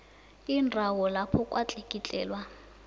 indawo lapho kwatlikitlelwa